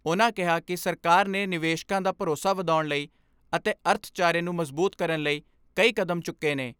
ਉਨ੍ਹਾਂ ਕਿਹਾ ਕਿ ਸਰਕਾਰ ਨੇ ਨਿਵੇਸ਼ਕਾਂ ਦਾ ਭਰੋਸਾ ਵਧਾਉਣ ਲਈ ਅਤੇ ਅਰਥਚਾਰੇ ਨੂੰ ਮਜ਼ਬੂਤ ਕਰਨ ਲਈ ਕਈ ਕਦਮ ਚੁੱਕੇ ਨੇ।